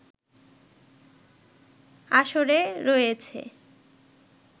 আসরে রয়েছে